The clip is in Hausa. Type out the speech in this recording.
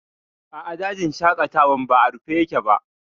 A'a, dajin shaƙatawan ba a rufe yake ba